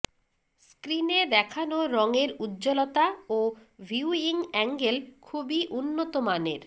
স্ক্রিনে দেখানো রঙের উজ্জ্বলতা ও ভিউইং অ্যাঙ্গেল খুবই উন্নত মানের